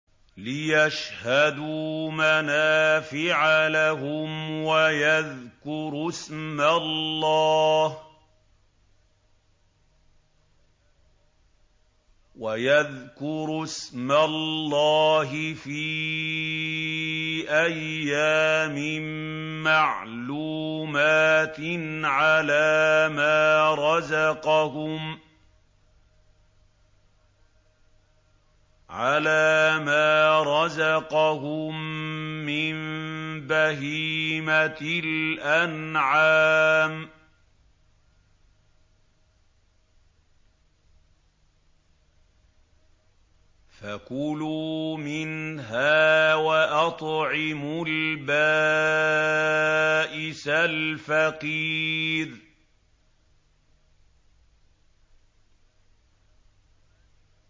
لِّيَشْهَدُوا مَنَافِعَ لَهُمْ وَيَذْكُرُوا اسْمَ اللَّهِ فِي أَيَّامٍ مَّعْلُومَاتٍ عَلَىٰ مَا رَزَقَهُم مِّن بَهِيمَةِ الْأَنْعَامِ ۖ فَكُلُوا مِنْهَا وَأَطْعِمُوا الْبَائِسَ الْفَقِيرَ